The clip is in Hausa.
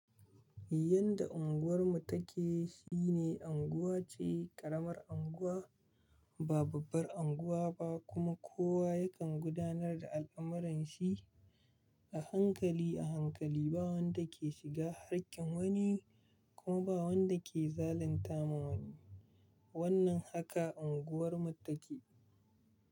Yadda unguwarmu take shine unguwa ce ƙaramar unguwa ba babbar unguwa ba kuma kowa yakan gudanar da al'amuranshi a hankali a hankali ba wanda ke shiga hakkin wani kuma ba wanda ke zalunta ma wani. Wannan haka unguwarmu take.